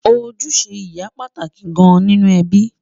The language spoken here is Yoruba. ojúṣe ìyá pàtàkì gán nínú ẹbí